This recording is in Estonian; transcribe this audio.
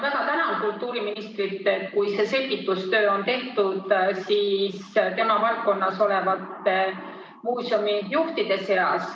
Väga tänan kultuuriministrit, kui see selgitustöö on tehtud tema valdkonnas olevatele muuseumijuhtidele.